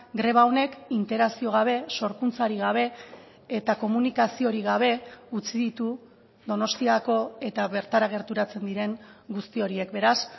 greba honek interakzio gabe sorkuntzarik gabe eta komunikaziorik gabe utzi ditu donostiako eta bertara gerturatzen diren guzti horiek beraz